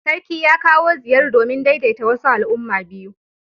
Sarki ya kawo ziyar domin daidaita wasu al'umma biyu.